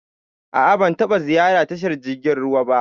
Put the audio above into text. A'a ban taba ziyarar tashar jirgin ruwa ba.